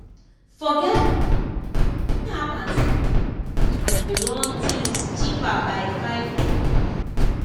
forge y app run things cheaper by five."